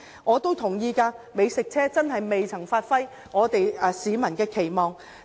我同意美食車真的未能達到市民的期望。